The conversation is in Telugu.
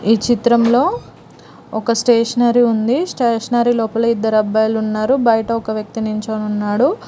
ఈ చిత్రంలో ఒక స్టేషనరీ ఉంది స్టేషనరీ లోపల ఇద్దరు అబ్బాయిలున్నారు బయట ఒక వ్యక్తి నించొనున్నాడు.